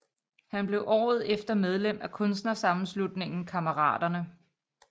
Han blev året efter medlem af Kunstnersammenslutningen Kammeraterne